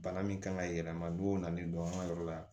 Bana min kan ka yɛlɛma don o nalen don an ka yɔrɔ la